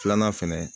Filanan fɛnɛ